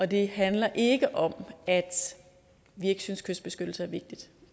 det handler ikke om at vi ikke synes at kystbeskyttelse er vigtigt